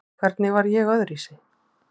Hvernig var ég öðruvísi?